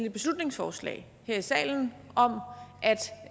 et beslutningsforslag her i salen om